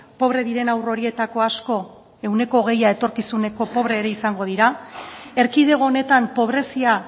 pobre diren haur horietako asko ehuneko hogeia etorkizuneko pobre ere izango dira erkidego honetan pobrezia